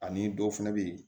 Ani dɔw fɛnɛ be yen